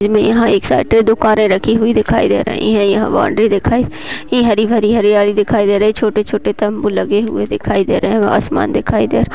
यहां पर एक साथ दो कारे रखे हुए दिखाई दे रही हैं। यहां पर बाउंड्री दिखाई दे रही है। यहां पर हरियाली दिखाई दे रहे हैं छोटे-छोटे तंबू लगे हुए दिखाई दे रहे हैं आसमान दिखाई दे --